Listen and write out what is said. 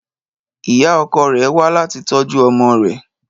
Ìyá ọkọ rẹ̀ wá láti tọ́jú ọmọ rẹ